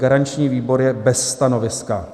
Garanční výbor je bez stanoviska.